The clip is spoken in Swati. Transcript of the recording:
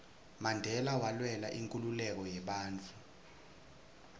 mandela walwela inkhululeko yebantfu